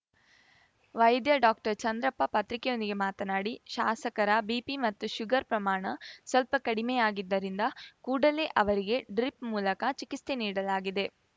ವೈದ್ಯ ಡಾಕ್ಟರ್ ಚಂದ್ರಪ್ಪ ಪತ್ರಿಕೆಯೊಂದಿಗೆ ಮಾತನಾಡಿ ಶಾಸಕರ ಬಿಪಿ ಮತ್ತು ಶುಗರ್‌ ಪ್ರಮಾಣ ಸ್ವಲ್ಪ ಕಡಿಮೆಯಾಗಿದ್ದರಿಂದ ಕೂಡಲೇ ಅವರಿಗೆ ಡ್ರಿಪ್‌ ಮೂಲಕ ಚಿಕಿಸ್ತೆ ನೀಡಲಾಗಿದೆ